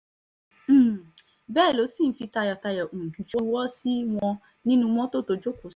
um bẹ́ẹ̀ ló si ń fi tayọ̀tayọ̀ um juwọ́ sí wọn nínnu mọ́tò tó jókòó